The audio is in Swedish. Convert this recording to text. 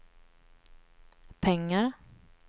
pengar